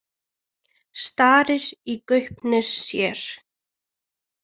Starir í gaupnir sér.